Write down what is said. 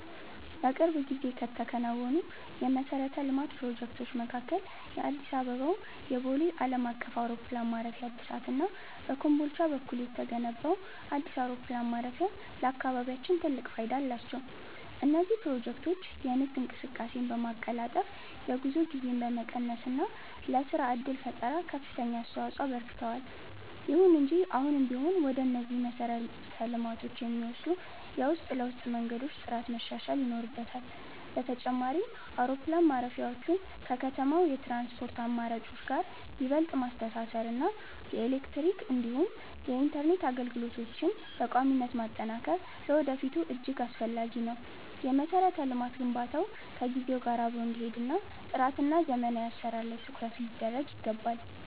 በቅርብ ጊዜ ከተከናወኑ የመሠረተ ልማት ፕሮጀክቶች መካከል የአዲስ አበባው የቦሌ ዓለም አቀፍ አውሮፕላን ማረፊያ እድሳት እና በኮምቦልቻ በኩል የተገነባው አዲስ አውሮፕላን ማረፊያ ለአካባቢያችን ትልቅ ፋይዳ አላቸው። እነዚህ ፕሮጀክቶች የንግድ እንቅስቃሴን በማቀላጠፍ፣ የጉዞ ጊዜን በመቀነስ እና ለሥራ ዕድል ፈጠራ ከፍተኛ አስተዋፅኦ አበርክተዋል። ይሁን እንጂ አሁንም ቢሆን ወደ እነዚህ መሰረተ ልማቶች የሚወስዱ የውስጥ ለውስጥ መንገዶች ጥራት መሻሻል ይኖርበታል። በተጨማሪም፣ አውሮፕላን ማረፊያዎቹን ከከተማው የትራንስፖርት አማራጮች ጋር ይበልጥ ማስተሳሰር እና የኤሌክትሪክ እንዲሁም የኢንተርኔት አገልግሎቶችን በቋሚነት ማጠናከር ለወደፊቱ እጅግ አስፈላጊ ነው። የመሠረተ ልማት ግንባታው ከጊዜው ጋር አብሮ እንዲሄድ ጥራትና ዘመናዊ አሠራር ላይ ትኩረት ሊደረግ ይገባል።